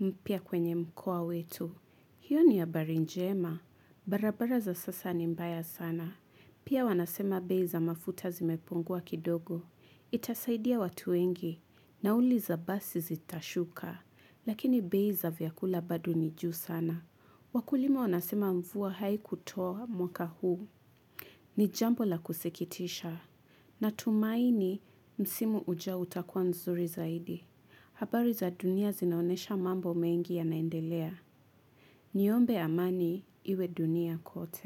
mpya kwenye mkoa wetu. Hiyo ni habari njema, barabara za sasa ni mbaya sana. Pia wanasema bei za mafuta zimepungua kidogo. Itasaidia watu wengi, nauli za basi zitashuka, lakini bei za vyakula bado ni juu sana. Wakulima wanasema mvua haikutoa mwaka huu ni jambo la kusikitisha natumaini msimu ujao utakwa mzuri zaidi. Habari za dunia zinaonyesha mambo mengi yanaendelea. Niombe amani iwe dunia kote.